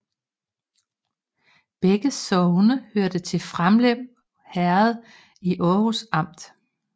Begge sogne hørte til Framlev Herred i Aarhus Amt